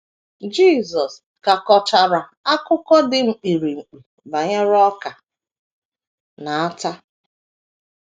Jisọs ka kọchara akụkọ dị mkpirikpi banyere ọka na ata.